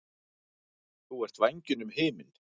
Þú ert vængjunum himinn.